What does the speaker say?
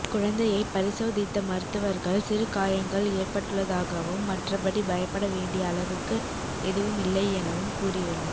குழந்தையை பரிசோதித்த மருத்துவர்கள் சிறு காயங்கள் ஏற்பட்டுள்ளதாகவும் மற்றபடி பயப்பட வேண்டிய அளவுக்கு எதுவும் இல்லை எனவும் கூறியுள்ளனர்